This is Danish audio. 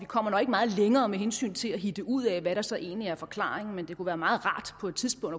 kommer meget længere med hensyn til at hitte ud af hvad der så egentlig er forklaringen det kunne være meget rart på et tidspunkt